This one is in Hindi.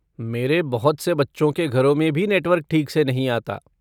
मेरे बहुत से बच्चों के घरों में भी नेटवर्क ठीक से नहीं आता।